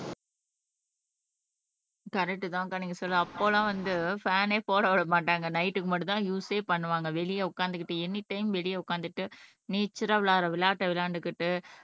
correct தான்க்கா நீங்க சொல்றது அப்ப எல்லாம் வந்து ஃபேன்னே போட விட மாட்டாங்க நைட்க்கு மட்டும்தான் யூஸ்ஸே பண்ணுவாங்க வெளியே உட்கார்ந்துகிட்டு எனிடைம் வெளியே உட்கார்ந்துட்டு நேச்சரல்லா விளையாடுற விளையாட்டை விளையாண்டுக்கிட்டு